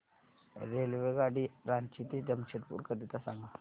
रेल्वेगाडी रांची ते जमशेदपूर करीता सांगा